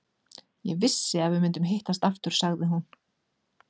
Ég vissi að við myndum hittast aftur, sagði hún.